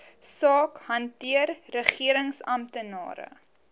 saak hanteer regeringsamptenare